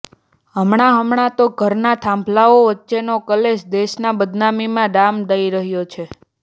હમણા હમણા તો ધરમના થાંભલાઓ વચ્ચેનો કલેશ દેશને બદનામીના ડામ દઈ રહ્યો છે